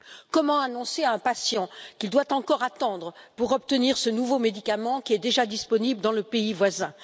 Comment annoncer à un patient qu'il doit encore attendre pour obtenir ce nouveau médicament qui est déjà disponible dans le pays voisin?